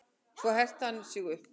Svo herti hann sig upp.